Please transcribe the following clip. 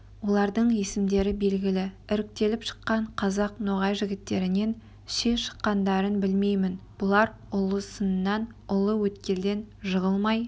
олардың есімдері белгілі іріктеліп шыққан қазақ-ноғай жігіттерінен ши шыққандарын білмеймін бұлар ұлы сыннан ұлы өткелден жығылмай